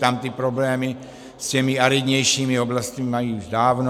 Tam ty problémy s těmi aridnějšími oblastmi mají už dávno.